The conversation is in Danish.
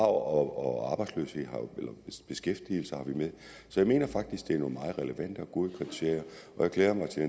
og arbejdsløshed og beskæftigelse har vi med så jeg mener faktisk at det er nogle meget relevante og gode kriterier jeg glæder mig til